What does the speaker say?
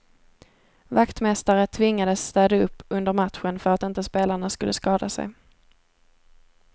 Vaktmästare tvingades städa upp under matchen för att inte spelarna skulle skada sig.